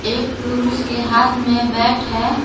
एक पुरुष के हाथ में बैट है।